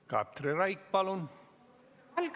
Katri Raik, palun!